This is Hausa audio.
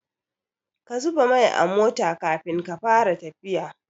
Ka zuba mai a mota Kafin ka Fara tafiya